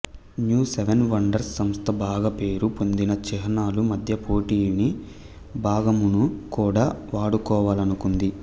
new seven wonders సంస్థ బాగా పేరు పొందిన చిహ్నాలు మధ్య పోటీని భాగమును కూడా వడుకోవలనుకుంది